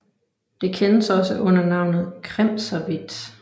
Det kendes også under navnet kremserhvidt